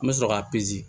An bɛ sɔrɔ k'a